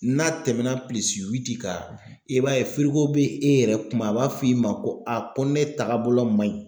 N'a tɛmɛna pilisi witi kan i b'a ye firigo be e yɛrɛ kuma a b'a fɔ i ma ko a ko ne tagabolo ma ɲi